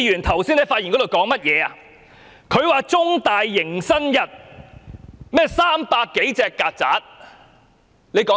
他說道，中大迎新日有300多隻曱甴。